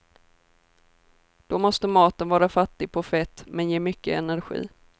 Då måste maten vara fattig på fett, men ge mycket energi.